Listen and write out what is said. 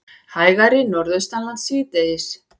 Hægari Norðaustanlands síðdegis